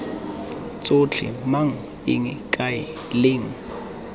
tsotlhe mang eng kae leng